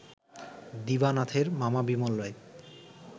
দিবানাথের মামা বিমল রায়